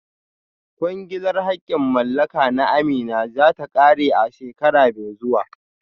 Kwangilar haƙƙin mallaka na Amina za ta ƙare a shekara mai zuwa